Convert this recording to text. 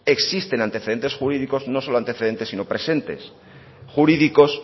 existen antecedentes jurídicos no solo antecedentes sino presentes jurídicos